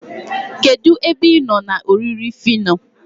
kedu ebe ịnọ na oriri phyno?